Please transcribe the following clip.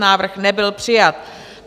Návrh nebyl přijat.